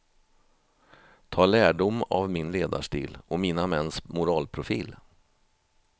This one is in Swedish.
Ta lärdom av min ledarstil och mina mäns moralprofil.